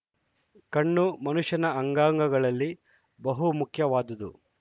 ಕಣ್ಣು ಮನುಷ್ಯನ ಅಂಗಾಂಗಳಲ್ಲಿ ಬಹುಮುಖ್ಯವಾದದು